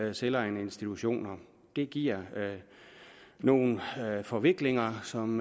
vi selvejende institutioner det giver nogle forviklinger som